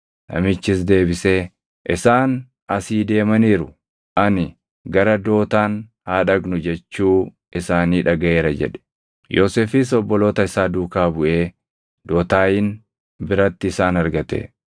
Namichis deebisee, “Isaan asii deemaniiru; ani ‘Gara Dootaan haa dhaqnu’ jechuu isaanii dhagaʼeera” jedhe. Yoosefis obboloota isaa duukaa buʼee Dotaayin biratti isaan argate.